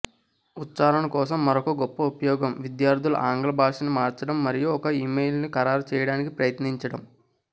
ఉచ్ఛారణ కోసం మరొక గొప్ప ఉపయోగం విద్యార్థులు ఆంగ్ల భాషని మార్చడం మరియు ఒక ఇమెయిల్ను ఖరారు చేయడానికి ప్రయత్నించడం